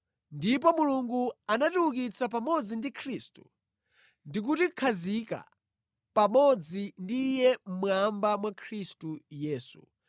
Ndipo Mulungu anatiukitsa pamodzi ndi Khristu ndi kutikhazika pamodzi ndi Iye mmwamba mwa Khristu Yesu,